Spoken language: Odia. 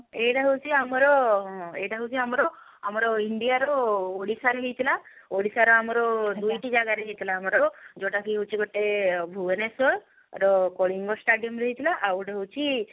ଏଇଟା ହଉଛି ଆମର ଏଇଟା ହଉଛି ଆମର ଆମର india ର ଓଡିଶା ରେ ହେଇଥିଲା ଓଡିଶା ର ଆମର ଯଉଟା କି ହଉଛି ଗୋଟେ ଭୁବନେଶ୍ଵର ର କଳିଙ୍ଗ stadium ରେ ହେଇଥିଲା ଆଉ ଗୋଟେ ହଉଛି